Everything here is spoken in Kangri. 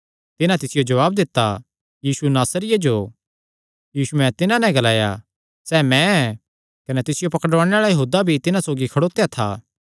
तिन्हां तिसियो जवाब दित्ता यीशु नासरिये जो यीशुयैं तिन्हां नैं ग्लाया सैह़ मैं ऐ कने तिसियो पकड़ुआणे आल़ा यहूदा भी तिन्हां सौगी खड़ोत्या था